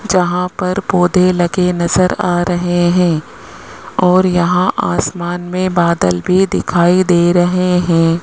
जहां पर पौधे लगे नजर आ रहे हैं और यहां आसमान में बादल भी दिखाई दे रहे हैं।